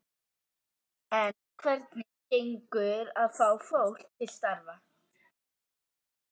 En hvernig gengur að fá fólk til starfa?